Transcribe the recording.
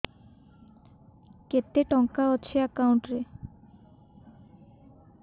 କେତେ ଟଙ୍କା ଅଛି ଏକାଉଣ୍ଟ୍ ରେ